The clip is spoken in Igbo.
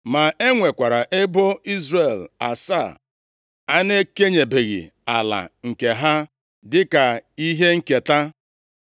ma e nwekwara ebo Izrel asaa a na-ekenyebeghị ala nke ha dịka ihe nketa.